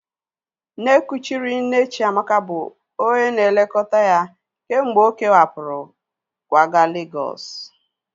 Nne kuchiri nne Chiamaka bụ onye na-elekọta ya kemgbe ọ kewapụrụ kwaga Legọs